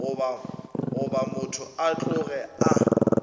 goba motho a tloge a